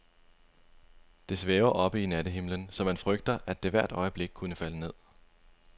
Det svæver oppe i nattehimlen, så man frygter, at det hvert øjeblik kunne falde ned.